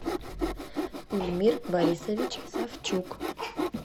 эльмир борисович савчук